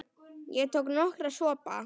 Ég tók nokkra sopa.